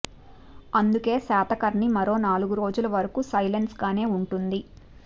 అందుకే శాతకర్ణి మరో నాలుగు రోజుల వరకు సైలెన్స్ గానే వుంటుంది